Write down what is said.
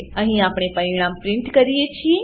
અહીં આપણે પરિણામ પ્રીંટ કરીએ છીએ